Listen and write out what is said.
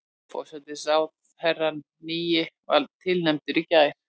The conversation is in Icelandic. Forsætisráðherrann nýi var tilnefndur í gær